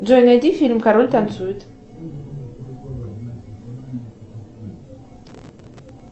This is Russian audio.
джой найди фильм король танцует